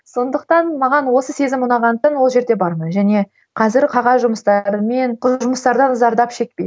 сондықтан маған осы сезім ұнағандықтан ол жерде бармын және қазір қағаз жұмыстарымен жұмыстардан зардап шекпеймін